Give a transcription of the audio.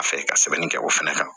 A fɛ ka sɛbɛnni kɛ o fɛnɛ kan